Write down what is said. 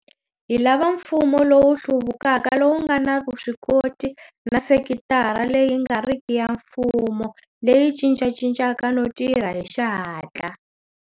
Hi lava mfumo lowu hluvukaka lowu nga na vuswikoti na sekitara leyi nga riki ya mfumo leyi cincacincaka no tirha hi xihatla.